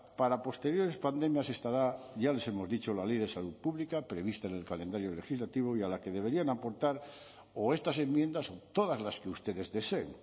para posteriores pandemias estará ya les hemos dicho la ley de salud pública prevista en el calendario legislativo y a la que deberían aportar o estas enmiendas o todas las que ustedes deseen